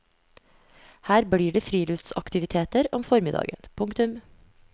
Her blir det friluftsaktiviteter om formiddagen. punktum